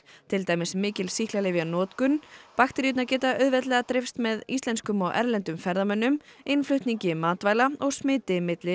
til dæmis mikil sýklalyfjanotkun bakteríurnar geta auðveldlega dreifst með íslenskum og erlendum ferðamönnum innflutningi matvæla og smiti milli